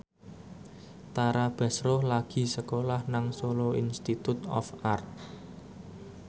Tara Basro lagi sekolah nang Solo Institute of Art